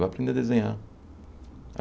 Vai aprender a desenhar.